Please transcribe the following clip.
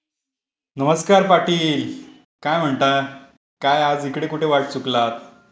नमस्कार पाटील. काय म्हणता? काय आज इकडे कुठे चुकलात ?